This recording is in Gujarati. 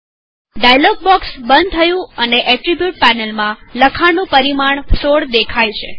ડાયલોગ બોક્ષ બંધ થયું અને એટ્રીબુટ પેનલ માં લખાણનું પરિમાણ ૧૬ દેખાય છે